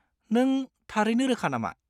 नों थारैनो रोखा नामा?